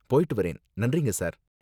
போயிட்டு வரேன், நன்றிங்க சார்.